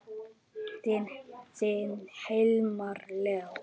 Þinn Hilmar Leó.